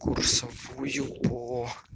курсовую по